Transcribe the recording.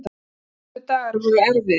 Næstu dagar voru erfiðir.